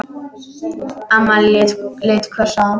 Amma leit hvöss á hann.